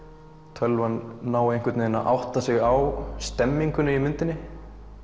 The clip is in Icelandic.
tölvan nái einhvern veginn að átat sig á stemmningunni í myndinni